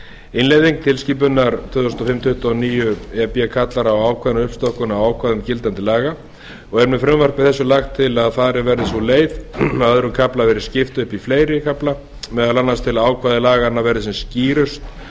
innleiðing tilskipunar tuttugu og níu e b kallar á ákveðna uppstokkun á ákvæðum gildandi laga og er með frumvarpi þessu lagt að farin verði sú leið að öðrum kafla verði skipt upp í fleiri kafla meðal annars til að ákvæði laganna verði sem skýrust